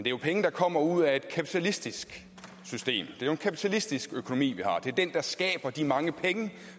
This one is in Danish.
er jo penge der kommer ud af et kapitalistisk system det er en kapitalistisk økonomi og det er den der skaber de mange penge